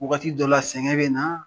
Waagati dɔ la sɛgɛn bɛ na